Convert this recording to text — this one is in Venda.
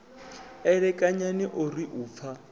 elekanyani o ri u pfa